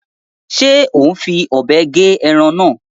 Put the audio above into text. Ṣe o n fí òbé gé ẹran náà?